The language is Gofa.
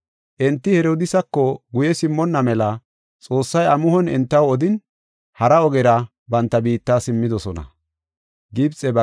Enti Herodiisako guye simmonna mela Xoossay amuhon entaw odin, hara ogera banta biitta simmidosona.